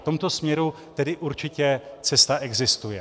V tomto směru tedy určitě cesta existuje.